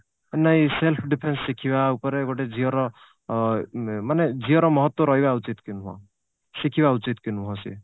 ନାଇଁ self defence ଶିଖିବା ଉପରେ ଗୋଟେ ଝିଅର ଅ ମାନେ ଝିଅର ମହତ୍ଵ ରହିବା ଉଚିତ କି ନୁହଁ ଶିଖିବା ଉଚିତ କି ନୁହଁ ସିଏ